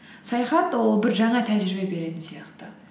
саяхат ол бір жаңа тәжірибе беретін сияқты